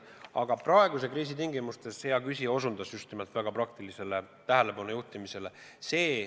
Aga praeguse kriisi tingimustes hea küsija osutas just nimelt väga praktilisele juhtimisele.